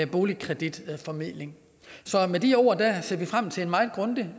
boligkreditformidling med de ord ser vi frem til en meget grundig